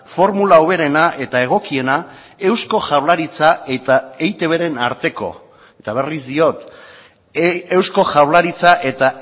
formula hoberena eta egokiena eusko jaurlaritza eta eitbren arteko eta berriz diot eusko jaurlaritza eta